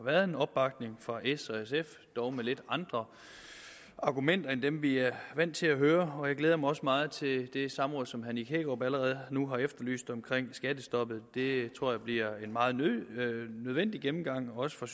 været en opbakning fra s og sf dog med lidt andre argumenter end dem vi er vant til at høre jeg glæder mig også meget til det samråd som herre nick hækkerup allerede nu har efterlyst omkring skattestoppet det tror jeg bliver en meget nødvendig gennemgang også for